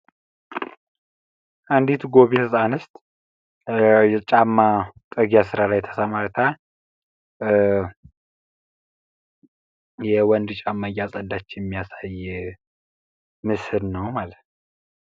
አንድት ጎበዝ አንስት የተለያዩ ጫማ ጥርጊያ ስራ ላይ ተሰማርታ የወንድ ጫማ እያጸዳች የሚያሳይ ምስል ነው ማለት ነው።